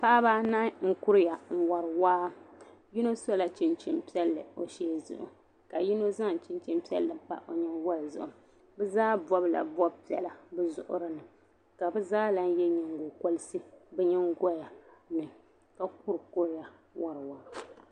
Paɣiba anahi n-kuriya n-wari waa. Yino sɔla chinchin' piɛlli o shee zuɣu ka yino zaŋ chinchin' piɛlli pa o nyiŋgoli zuɣu. Bɛ zaa bɔbila bɔb' piɛla bɛ zuɣiri ni ka bɛ zaa lahi ye nyiŋgokɔriti bɛ nyiŋgoya ni ka kurikuriya wari waa.